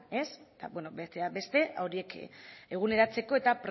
besteak beste horiek eguneratzeko eta